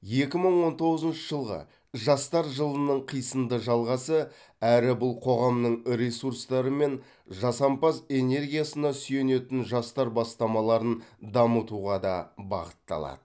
екі мың он тоғызыншы жылғы жастар жылының қисынды жалғасы әрі бұл қоғамның ресурстары мен жасампаз энергиясына сүйенетін жастар бастамаларын дамытуға да бағытталады